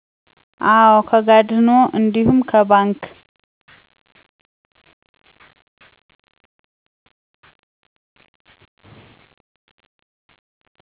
አዎ ከጋደኖ እንዲሁም ከ ባንክ